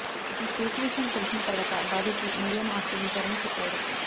ఈ కేసు విషయం తెలిసిన తర్వాత బాధితులు మీడియాను ఆశ్రయించారని చెప్పారు